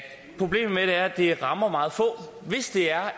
problemet med det er at det rammer meget få hvis det er